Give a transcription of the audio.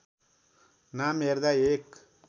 नाम हेर्दा एक